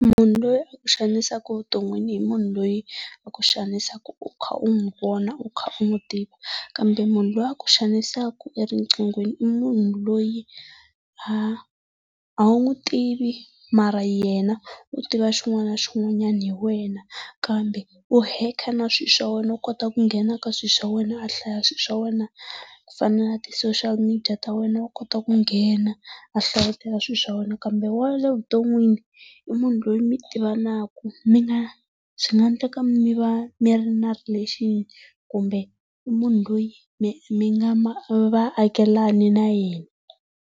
Munhu loyi a ku xanisaka vuton'wini i munhu loyi a ku xanisaka u kha u n'wi vona u kha u n'wi tiva, kambe munhu loyi a ku xanisaka eriqinghweni i munhu loyi a a wu n'wi tivi mara yena u tiva xin'wana na xin'wanyana hi wena kambe u hekha na swilo swa wena u kota ku nghena ka swilo swa wena a hlaya swilo swa wena, ku fana na ti-socila media ta wena wa kota ku nghena a hlayetela swilo swa wena kambe wa le vuton'wini i munhu loyi mi tivanaka mi na swi nga endleka mi va mi ri na relation kumbe i munhu loyi mi mi nga vaakelani na yena.